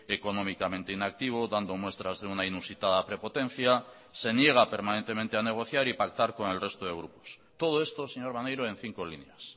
económicamente inactivo dando muestras de una inusitada prepotencia se niega permanentemente a negociar y pactar con el resto de grupos todo esto señor maneiro en cinco líneas